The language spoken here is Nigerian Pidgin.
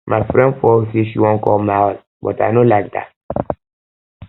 my friend for work say she wan come my house but i no like like dat